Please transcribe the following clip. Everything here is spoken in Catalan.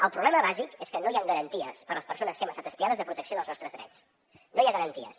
el problema bàsic és que no hi han garanties per a les persones que hem estat espiades de protecció dels nostres drets no hi ha garanties